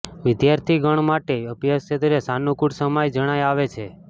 વિદ્યાર્થીગણ માટે અભ્યાસ ક્ષેત્રે સાનૂકુળ સમય જણાઈ આવે છે